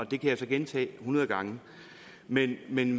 det kan jeg så gentage hundrede gange men men